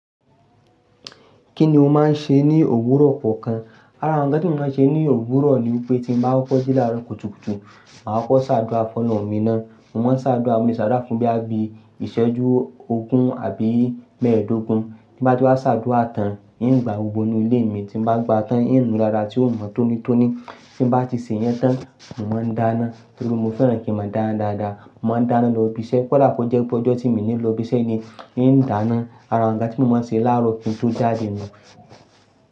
Kí ni o máa ń ṣe ní òwúrọ̀ kọ̀ọ̀kan? Ara awọn ǹkan tí mo máa ń ṣe ní òwúrọ̀ ni wípé tí mo bá kọ́kọ́ jí ní àárọ̀ kùtùkùtù, màá kọ́kọ́ ṣàdúà fọ́nà mi ná. Mo máa ń ṣàdúà, mo le ṣàdúà fún bí i àbí ìṣẹ́jú ogún àbí mẹ́ẹ̀ẹ́dógún. Bí bá ti wá ṣàdúà tán, ngbà gbogbo ínú ilé mi tí mo bá gba tán ń nu dáadáa tí ó mọ́ tónítóní. Tí bá ti ṣe yẹn tán, mo máa ń dáná. Nítorí mo fẹ́ràn kí mo dáran dáadáa. Mo máa ń dáná lọ ibi iṣẹ́. Ko dà kó jẹ́ pé ọjọ́ tí mo ní lọ ibi iṣẹ́ ni, ni n dáná. Ara ǹkan tí mo máa ń ṣe láàárọ̀ kí n tó jáde ní.